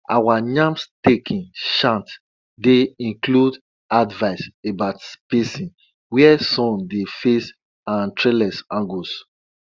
our yam staking chant dey include advice about spacing where sun dey face and trellis angles